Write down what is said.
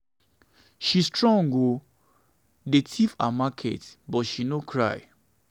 she strong oo dey thief her market but she no cry.